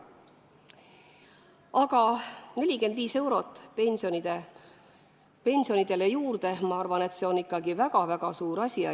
Aga 45 eurot pensionile juurde, ma arvan, on ikkagi väga-väga suur asi.